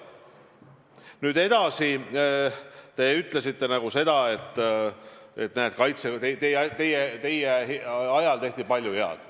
Nüüd edasi, te ütlesite, et teie ajal tehti palju head.